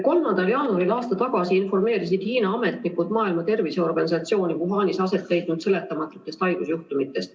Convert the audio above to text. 3. jaanuaril aasta tagasi informeerisid Hiina ametnikud Maailma Terviseorganisatsiooni Wuhanis aset leidnud seletamatutest haigusjuhtumitest.